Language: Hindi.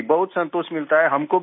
जी बहुत संतोष मिलता है